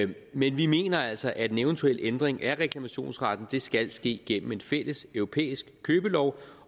men vi mener altså at en eventuel ændring af reklamationsretten skal ske gennem en fælleseuropæisk købelov